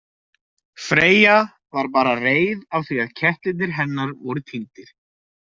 Freyja var bara reið af því að kettirnir hennar voru týndir.